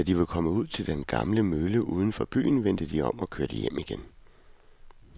Da de var kommet ud til den gamle mølle uden for byen, vendte de om og kørte hjem igen.